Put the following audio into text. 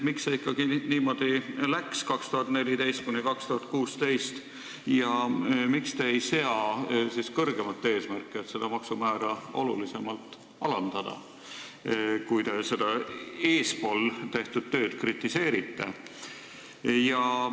Miks see aastatel 2014–2016 ikkagi niimoodi läks ja miks te ei sea siis kõrgemat eesmärki, et seda maksumäära oluliselt alandada, kui te varem tehtud tööd kritiseerite?